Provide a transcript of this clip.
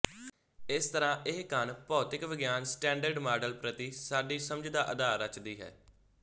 ਇਸਤਰਾਂ ਇਹ ਕਣ ਭੌਤਿਕ ਵਿਗਿਆਨ ਸਟੈਂਡਰਡ ਮਾਡਲ ਪ੍ਰਤਿ ਸਾਡੀ ਸਮਝ ਦਾ ਅਧਾਰ ਰਚਦੀ ਹੈ